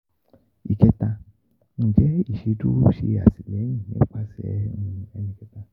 Ìkẹta njẹ iṣeduro ṣe atilẹyin nipasẹ ẹnikẹta?